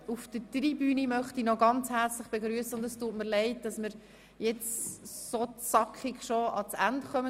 Auf der Tribüne möchte ich noch ganz herzlich eine Gruppe des Crystal Clubs begrüssen.